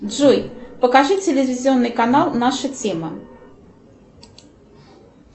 джой покажи телевизионный канал наша тема